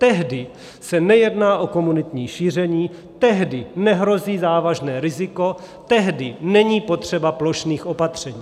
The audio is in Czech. Tehdy se nejedná o komunitní šíření, tehdy nehrozí závažné riziko, tehdy není potřeba plošných opatření.